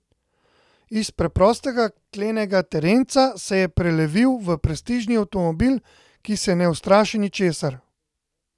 Iz preprostega klenega terenca se je prelevil v prestižni avtomobil, ki se ne ustraši ničesar.